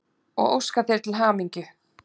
og óska þér til hamingju.